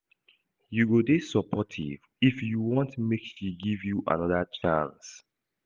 You go dey supportive if you want make she give you anoda chance.